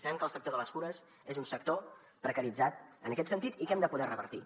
sabem que el sector de les cures és un sector precaritzat en aquest sentit i que hem de poder revertir